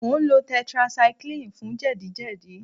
Mò ń lo tetracycline fún jẹ̀díjẹ̀dí